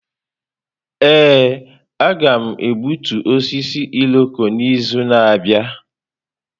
Ee, a ga-egbutu osisi Irọko n’izu na-abịa.